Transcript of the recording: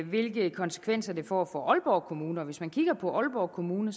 hvilke konsekvenser det får for aalborg kommune hvis man kigger på aalborg kommune